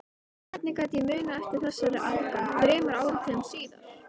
Hvernig gat ég munað eftir þessari angan þremur áratugum síðar?